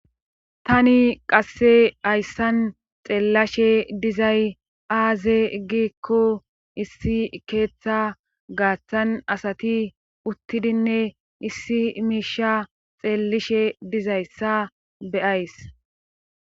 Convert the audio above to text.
tani qasse hayssan xeellashe dizay aaze giikko issi keeththa gaaththan asati uttidinne issi miisha xeellishe dizayssa be'ays